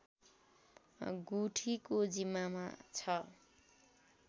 गुठीको जिम्मामा छ